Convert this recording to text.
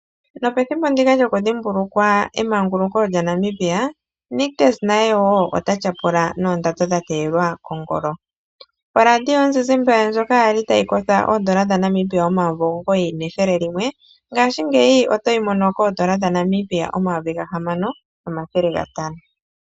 Nopethimbo ndika lyokudhimbulukwa emanguluko lyaNamibia Nictus naye ota tyapula noondando dhateyelwa kongolo. Oradio yomuzizimba ndjoka yali tayi kotha N$9100 ngaashingeyi oyina N$6500.